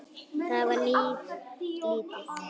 Það var nú lítið.